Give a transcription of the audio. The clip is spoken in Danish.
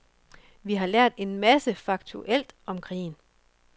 Vi har lært en masse faktuelt om krigen.